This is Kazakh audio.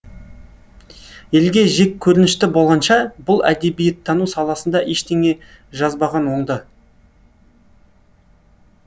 елге жеккөрінішті болғанша бұл әдебиеттану саласында ештеңе жазбаған оңды